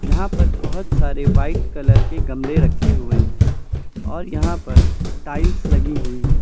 यहां पर बहुत सारे व्हाइट कलर के गमले रखे हुए हैं और यहां पर टाइल्स लगी हुई है।